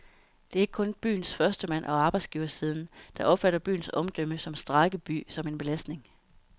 Det er ikke kun byens førstemand og arbejdsgiversiden, der opfatter byens omdømme som strejkeby som en belastning.